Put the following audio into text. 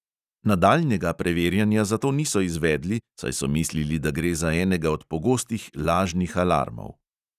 Nadaljnjega preverjanja zato niso izvedli, saj so mislili, da gre za enega od pogostih lažnih alarmov.